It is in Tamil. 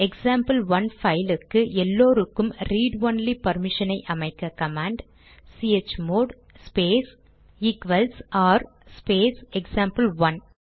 எக்சாம்பிள்1 பைலுக்கு எல்லாருக்கும் ரீட் ஒன்லி பர்மிஷனை அமைக்க கமாண்ட் சிஹெச்மோட் ஸ்பேஸ் ஆர் ஸ்பேஸ்எக்சாம்பிள்1